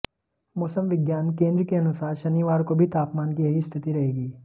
मौसम विज्ञान केंद्र के अनुसार शनिवार को भी तापमान की यही स्थिति रहेगी